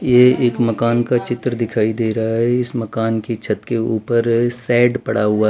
ये एक मकान का चित्र दिखाई दे रहा है। इस मकान की छत के ऊपर सेट पड़ा हुआ।